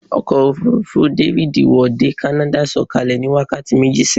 Ọkọ̀ òfurufú tí dáfídì wọ̀ dé kánádà sọ̀kalẹ̀ ní wákàtí méjì sẹ́yìn